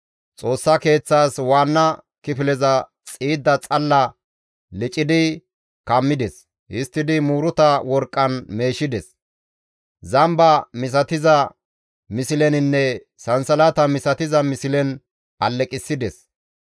Xoossa Keeththaas waanna kifileza xiidda xalla licidi kammides; histtidi muuruta worqqan meeshides; zamba misatiza misleninne sansalata misatiza mislen alleqissides.